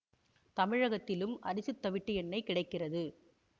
தமிழகத்திலும் அரிசித் தவிட்டு எண்ணெய் கிடைக்கிறது